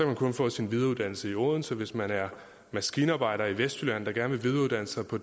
man kun få sin videreuddannelse i odense og hvis man er maskinarbejder i vestjylland der gerne vil videreuddanne sig på